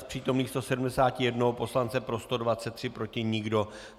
Z přítomných 171 poslance pro 123, proti nikdo.